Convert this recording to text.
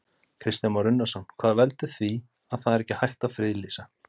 Kristján Már Unnarsson: Hvað veldur því að það er ekki hægt að friðlýsa?